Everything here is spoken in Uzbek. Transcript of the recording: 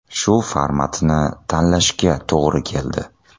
Shu formatni tanlashga to‘g‘ri keldi.